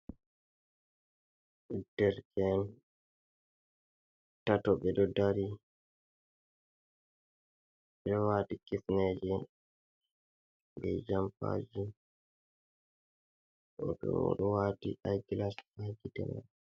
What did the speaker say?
Dere'en tato ɓe ɗo dari, ɓeɗo wadi kifneeje be jompaji, o ɗo o ɗo wati aigilas ha gite mai.